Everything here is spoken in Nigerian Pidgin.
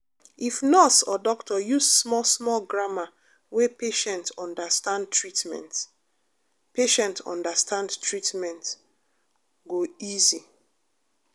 if nurse or doctor use small-small grammar wey patient understand treatment patient understand treatment go easy